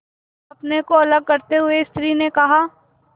अपने को अलग करते हुए स्त्री ने कहा